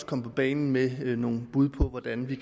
komme på banen med nogle bud på hvordan vi